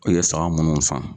O ye saga munnu san.